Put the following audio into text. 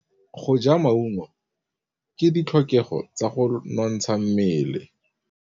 Go ja maungo ke ditlhokegô tsa go nontsha mmele.